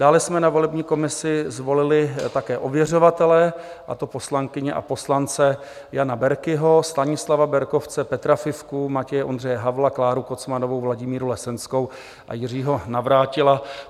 Dále jsme na volební komisi zvolili také ověřovatele, a to poslankyně a poslance Jana Berkiho, Stanislava Berkovce, Petra Fifku, Matěje Ondřeje Havla, Kláru Kocmanovou, Vladimíru Lesenskou a Jiřího Navrátila.